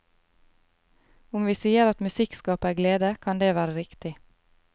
Om vi sier at musikk skaper glede, kan det være riktig.